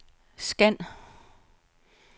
scan